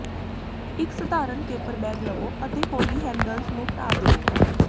ਇੱਕ ਸਧਾਰਨ paper bag ਲਵੋ ਅਤੇ ਹੌਲੀ ਹੈਂਡਲਸ ਨੂੰ ਢਾਹ ਦਿਓ